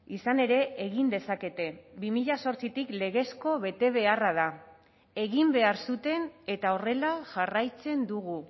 izan ere egin dezakete bi mila zortzitik legezko betebeharra da egin behar zuten eta horrela jarraitzen dugu